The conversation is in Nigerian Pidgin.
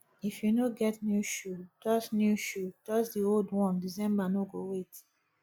if you no get new shoe dust new shoe dust the old one december no go wait